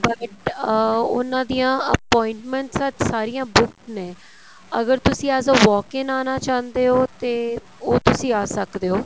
but ਅਹ ਉਹਨਾ ਦੀਆਂ appointments ਅੱਜ ਸਾਰੀਆ ਬੁੱਕ ਨੇ ਅਗਰ ਤੁਸੀਂ ਅੱਜ walk in ਆਣਾ ਚਾਹੁੰਦੇ ਹੋ ਤੇ ਉਹ ਤੁਸੀਂ ਆ ਸਕਦੇ ਓ